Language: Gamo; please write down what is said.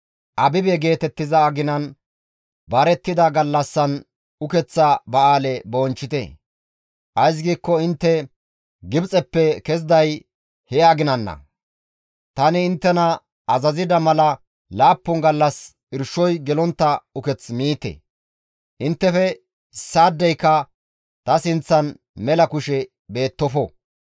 Abibe geetettiza aginan barettida gallassan ukeththa ba7aale bonchchite; ays giikko intte Gibxeppe keziday he aginanna. Tani inttena azazida mala laappun gallas irshoy gelontta uketh miite. «Inttefe issaadeyka ta sinththan mela kushe beettofo.